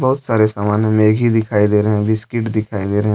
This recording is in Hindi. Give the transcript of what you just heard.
बहुत सारे सामान मैगी दिखाई दे रहे हैं बिस्किट दिखाई दे रहे हैं।